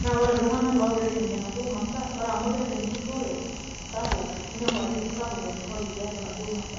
na ore iltung'anak ogira aitumia naduo masaa, ore amu keeta ejurrore sapuk, ninepu ajo sapuk empurrore tiatua naduo masaa.